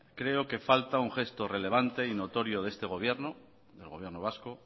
creo que falta un gesto relevante y notorio de este gobierno del gobierno vasco